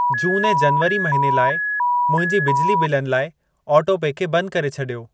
जून ऐं जनवरी महिने लाइ मुंहिंजी बिजली बिलनि लाइ ऑटोपे खे बंद करे छॾियो।